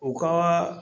U ka